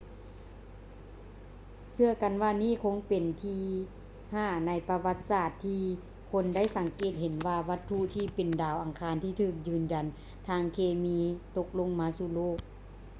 ເຊື່ອກັນວ່ານີ້ເປັນຄັ້ງທີຫ້າໃນປະຫວັດສາດທີ່ຄົນໄດ້ສັງເກດເຫັນວ່າວັດຖຸທີ່ເປັນດາວອັງຄານທີ່ຖືກຢືນຢັນທາງເຄມີຕົກລົງມາສູ່ໂລກ